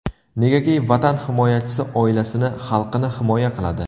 Negaki, Vatan himoyachisi oilasini, xalqini himoya qiladi.